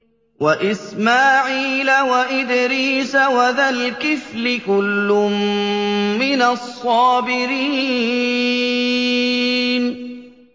وَإِسْمَاعِيلَ وَإِدْرِيسَ وَذَا الْكِفْلِ ۖ كُلٌّ مِّنَ الصَّابِرِينَ